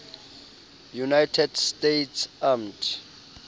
united states armed